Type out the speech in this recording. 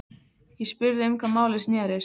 Ég spurði um hvað málið snerist.